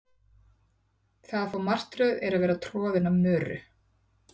það að fá martröð er að vera troðin af möru